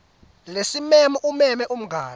lesimemo umeme umngani